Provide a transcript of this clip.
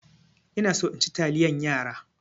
Ina so in ci taliyan yara.